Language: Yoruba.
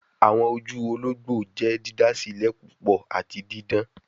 Awọn oju ologbo jẹ didasilẹ pupọ ati didan